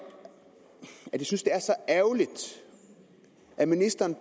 jeg synes er så ærgerligt at ministeren